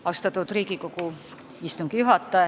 Austatud Riigikogu istungi juhataja!